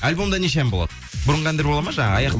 альбомда неше ән болады бұрынғы әндер болады ма жаңағы